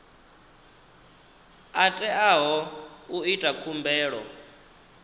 a teaho u ita khumbelo